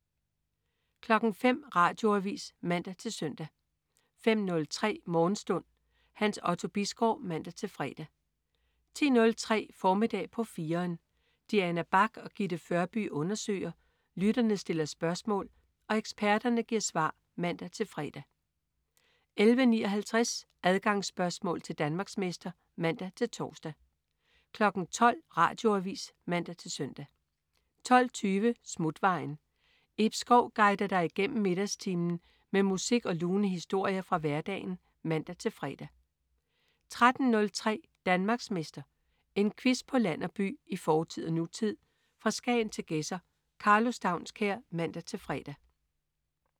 05.00 Radioavis (man-søn) 05.03 Morgenstund. Hans Otto Bisgaard (man-fre) 10.03 Formiddag på 4'eren. Diana Bach og Gitte Førby undersøger, lytterne stiller spørgsmål og eksperterne giver svar (man-fre) 11.59 Adgangsspørgsmål til Danmarksmester (man-tors) 12.00 Radioavis (man-søn) 12.20 Smutvejen. Ib Schou guider dig igennem middagstimen med musik og lune historier fra hverdagen (man-fre) 13.03 Danmarksmester. En quiz på land og by, i fortid og nutid, fra Skagen til Gedser. Karlo Staunskær (man-fre)